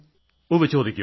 ഉവ്വ് ചോദിക്കൂ